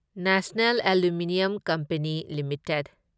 national Aluminium Company limited